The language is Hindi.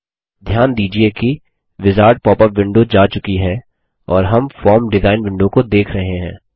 ध्यान दीजिये कि विजार्ड पॉपअप विंडो जा चुकी है और हम फॉर्म डिज़ाइन विंडो को देख रहे हैं